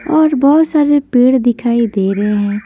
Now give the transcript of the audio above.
और बहुत सारे पेड़ दिखाई दे रहे हैं।